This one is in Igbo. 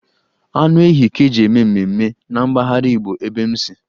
Anụ ehi ka-eji eme mmemme na mpaghara Igbo ebe m nsi.